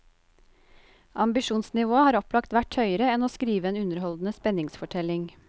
Ambisjonsnivået har opplagt vært høyere enn å skrive en underholdende spenningsfortelling.